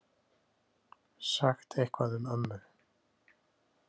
Sagt eitthvað um ömmu.